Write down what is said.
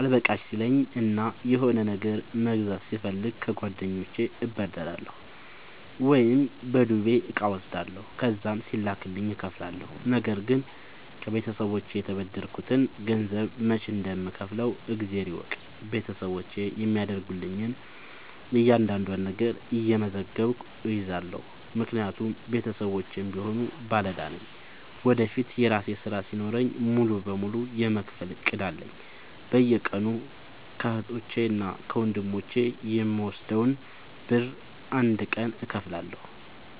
አልበቃሽ ሲለኝ እና የሆነ ነገር መግዛት ስፈልግ ከጓደኞቼ እበደራለሁ። ወይም በዱቤ እቃ እወስዳለሁ ከዛም ሲላክልኝ እከፍላለሁ። ነገርግን ከቤተሰቦቼ የተበደርከትን ገንዘብ መች እንደም ከውፍለው እግዜር ይወቅ ቤተሰቦቼ የሚያደርጉልኝን እያንዳዷን ነገር እየመዘገብኩ እይዛለሁ። ምክንያቱም ቤተሰቦቼም ቢሆኑ ባለዳ ነኝ ወደፊት የራሴ ስራ ሲኖረኝ ሙሉ በሙሉ የመክፈል እቅድ አለኝ። በየቀኑ ከህቶቼ እና ከወንድሞቼ የምወስደውን ብር አንድ ቀን እከፍላለሁ።